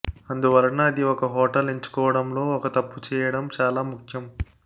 అందువలన అది ఒక హోటల్ ఎంచుకోవడం లో ఒక తప్పు చేయడం చాలా ముఖ్యం